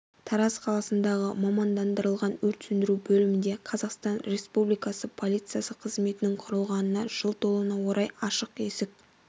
тараз қаласындағы мамандандырылған өрт сөндіру бөлімінде қазақстан республикасы полициясы қызметінің құрылғанына жыл толуына орай ашық есік